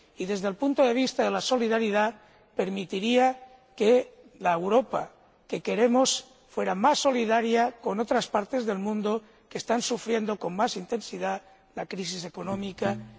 Y, desde el punto de vista de la solidaridad, permitiría que la Europa que queremos fuera más solidaria con otras partes del mundo que están sufriendo con más intensidad la crisis económica, de una forma estructural.